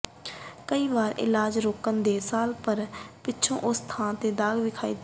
ਕਈ ਵਾਰ ਇਲਾਜ ਰੋਕਣ ਦੇ ਸਾਲ ਭਰ ਪਿੱਛੋਂ ਉਸੇ ਥਾਂ ਦਾਗ ਵਿਖਾਈ ਦੇਣ